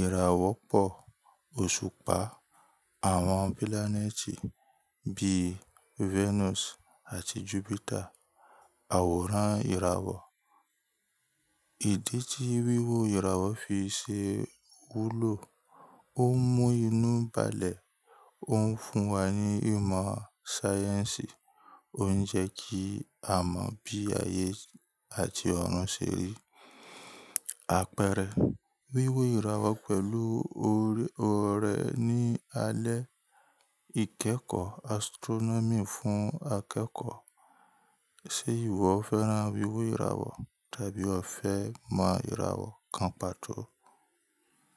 ìràwọ̀ pọ̀ òṣùpá, àwọn pilaneti bíi Venus àti Jupiter, àwòrán ìràwọ̀. Ìdí tí wíwọ ìràwọ̀ fi ṣe wúlò, ó ń mú inú balẹ̀, ó ń fún wa ní ìmọ̀ sáyẹ́ǹsì, ó ń jẹ́ kí a mọ̀ bí ayé àti ọ̀run ṣe rí. Àpẹẹrẹ wíwọ ìràwọ̀ pẹ̀lú ọ̀rẹ́ ní alẹ́, ìkẹ́kọ̀ọ́ astronomy fún akẹ́kọ̀ọ́. Ṣé ìwọ fẹ́ran wíwọ ìràwọ̀ tàbí o fẹ́ mọ ìràwọ̀ kan pàtó?